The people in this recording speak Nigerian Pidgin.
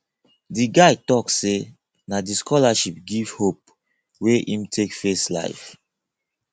di guy tok sey na di scholarship give hope wey im take face life